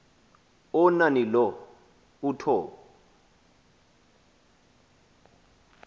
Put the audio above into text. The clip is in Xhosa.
onani lo uthob